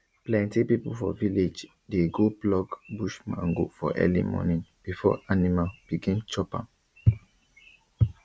plenty people for village dey go pluck bush mango for early morning before animal begin chop am